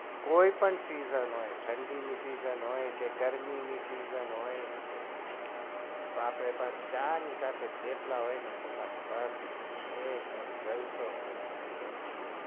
કોઈ પણ season હોય ઠંડી ની season હોય કે ગરમી season હોય આપડે તો ચાની સાથે થેપલા હોય તો બસ પતિ ગયું એકદમ જલસો પડી ગયો